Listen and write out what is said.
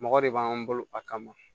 Mɔgɔ de b'an bolo a kama